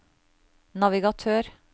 navigatør